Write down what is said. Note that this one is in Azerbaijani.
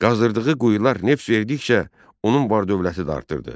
Qazdırdığı quyular neft verdikcə onun var-dövləti də artırdı.